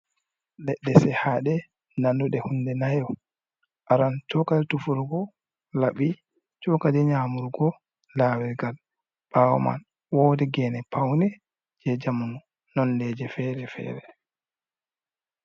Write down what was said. Leɗɗe sehaɗe nanduɗe hunde nayo, aran cokali tufurgo laɓi cokali nya murgo, lawirgal. Ɓawo man wodi gene paune je jamnu nondeje fere fere.